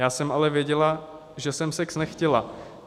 Já jsem ale věděla, že jsem sex nechtěla.